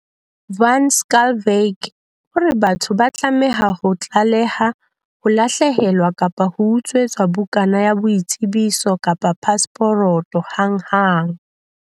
Van Schalkwyk o re batho ba tlameha ho tlaleha ho lahlehelwa kapa ho utswetswa bukana ya boitsebiso kapa pasporoto hanghang.